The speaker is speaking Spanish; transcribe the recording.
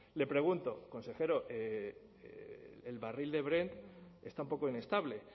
le pregunto consejero el barril de brent está un poco inestable